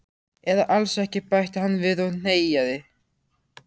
Eða alls ekki bætti hann við og hneggjaði.